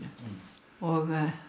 og